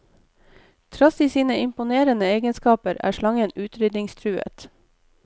Trass i sine imponerende egenskaper er slangen utryddingstruet.